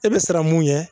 E bɛ siran mun ɲɛ